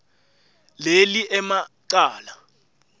leli ema cala